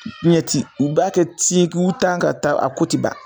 u b'a kɛ tikutan ka taa a ko ti ban